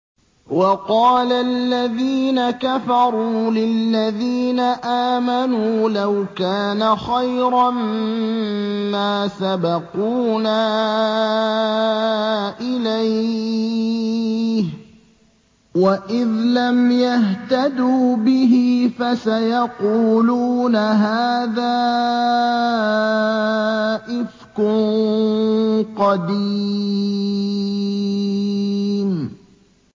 وَقَالَ الَّذِينَ كَفَرُوا لِلَّذِينَ آمَنُوا لَوْ كَانَ خَيْرًا مَّا سَبَقُونَا إِلَيْهِ ۚ وَإِذْ لَمْ يَهْتَدُوا بِهِ فَسَيَقُولُونَ هَٰذَا إِفْكٌ قَدِيمٌ